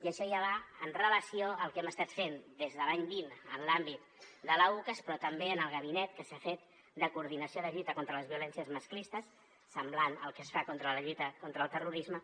i això ja va amb relació al que hem estat fent des de l’any vint en l’àmbit de l’ucas però també en el gabinet que s’ha fet de coordinació de lluita contra les violències masclistes semblant al que es fa en la lluita contra el terrorisme